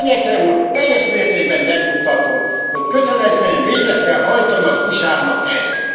Cañete úr teljes mértékben megnyugtatott, hogy kötelezően végre kell hajtani az USA nak ezt.